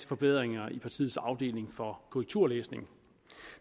forbedringer i partiets afdeling for korrekturlæsning